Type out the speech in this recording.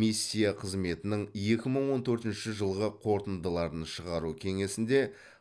миссия қызметінің екі мың он төртінші жылғы қорытындыларын шығару кеңесінде